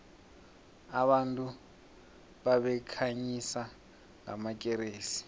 abantu babekhanyisa ngamakeresi